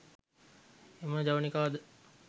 එම ජවනිකා ද